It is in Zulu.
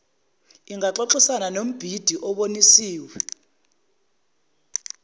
ingaxoxisana nombhidi obonisiwe